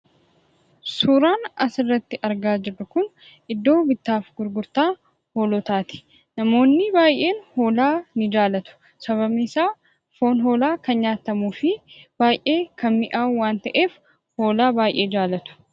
Suuraan asirratti argaa jirru kun iddoo bittaa fi gurgurtaa hoolotaati. Namoonni baay'een hoolaa ni jaalatu. Sababni isaa foon hoolaa kan nyaatamuu fi baay'ee kan mi'aahu waan ta'eef, hoolaa baay'ee ni jaalatu.